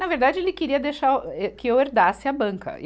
Na verdade, ele queria deixar o, ê, que eu herdasse a banca.